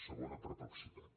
segona perplexitat